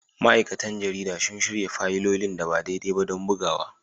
Ma'aikatan jarida sun shirya fayilolin da ba daidai ba don bugawa